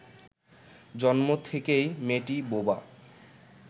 জন্ম থেকেই মেয়েটি বোবা